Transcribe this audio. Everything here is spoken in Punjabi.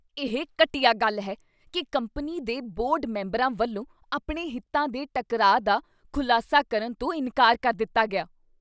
ਇਹ ਘਟੀਆ ਗੱਲ ਹੈ ਕੀ ਕੰਪਨੀ ਦੇ ਬੋਰਡ ਮੈਂਬਰਾਂ ਵੱਲੋਂ ਆਪਣੇ ਹਿੱਤਾਂ ਦੇ ਟਕਰਾਅ ਦਾ ਖੁਲਾਸਾ ਕਰਨ ਤੋਂ ਇਨਕਾਰ ਕਰ ਦਿੱਤਾ ਗਿਆ ।